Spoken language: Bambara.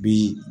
Bi